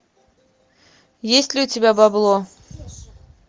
есть ли у тебя бабло